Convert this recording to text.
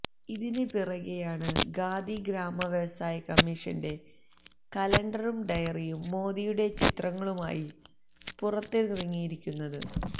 ഇതിന് പിറകെയാണ് ഖാദി ഗ്രാമവ്യവസായ കമ്മീഷന്റെ കലണ്ടറും ഡയറിയും മോദിയുടെ ചിത്രങ്ങളുമായി പുറത്തിറങ്ങിയിരിക്കുന്നത്